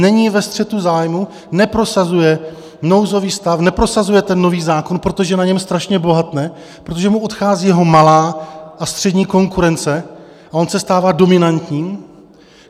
Není ve střetu zájmů, neprosazuje nouzový stav, neprosazuje ten nový zákon, protože na něm strašně bohatne, protože mu odchází jeho malá a střední konkurence a on se stává dominantním?